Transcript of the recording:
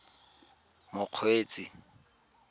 mokgweetsi